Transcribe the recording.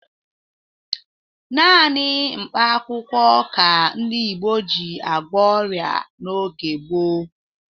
Naanị mkpakwụkwọ ka ndị Igbo ji agwọ ọrịa n'oge gboo.